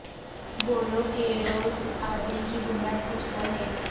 بولو کہ روز عدل کی بنیاد کچھ تو ہو